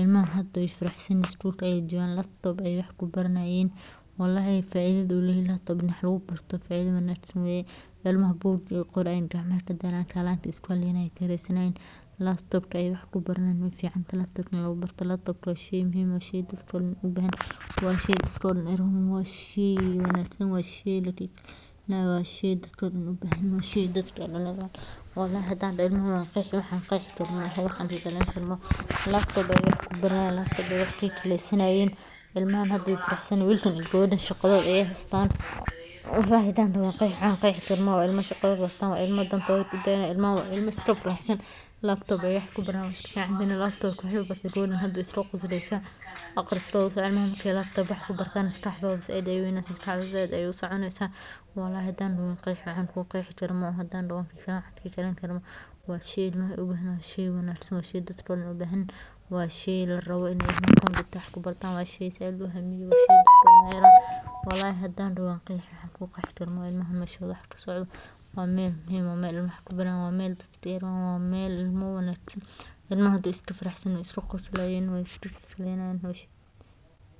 ilmaha hada wayfaraxsan yihin school away jogan laptop aya wax kubaranayen wlhi faida u leyahay laptop ka in wax lagu Barton faida wanagsan ilmaha bugtay qorayin gacmah kadalayin calaga iskuhaleynayin, labtopka wax kubaranayin wayficantahay, labtoka wa shey muhim ah waa shey dadka ubahanahin washey wansan washey dadka u bahan yihin wlhi hadan doho wan qexi ilmaha wxan qexikaro maha.